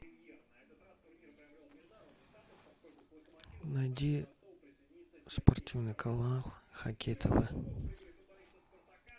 найди спортивный канал хоккей тв